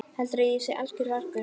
Heldurðu að ég sé alger vargur!